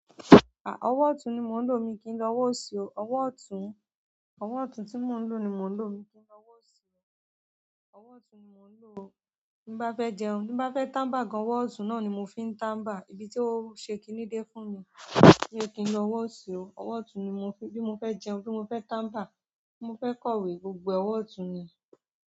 À, ọwọ́ ọ̀tún ni mo ń lò omi kín lọ́wọ́ sí o. Ọwọ́ ọ̀tún, ọwọ́ ọ̀tún tí mo ń lò ni mo ń lò mi kín lò ọ́wọ́ sí o. Ọwọ́ ọ̀tún ni mo ń lò o. Tin bá fẹ jẹun. Tín bá fẹ tanba gan ọwọ ọtún náà ni mo fín tanba níbi tó ṣe kíni dẹ̀ fún mi. Mio kín lò ọwọ òsì oo, ọwọ ọtun ni mo fín bí mo fẹ jẹun bí mo fẹ tanba bí mo fẹ kọ̀wé, gbogbo ẹ ọwọ ọtun níí.